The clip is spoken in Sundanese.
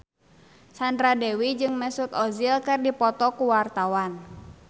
Sandra Dewi jeung Mesut Ozil keur dipoto ku wartawan